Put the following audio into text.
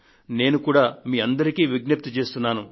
నేను కూడా మీ అందరికీ విజ్ఞప్తి చేస్తున్నాను